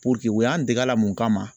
Puruke u y'an dege a la mun kama